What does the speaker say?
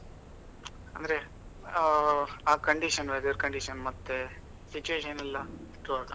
ಅಂದ್ರೆ ಆ condition weather condition ಮತ್ತೆ situation ಎಲ್ಲಾ ಹುಟ್ಟುವಾಗ?